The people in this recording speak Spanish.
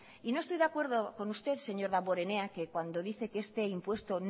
y no estoy de acuerdo con usted señor damborenea cuando dice que este impuesto